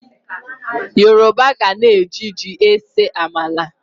Yoroba gana e ji ji ese amala.